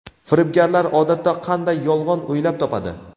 Firibgarlar odatda qanday yolg‘on o‘ylab topadi?.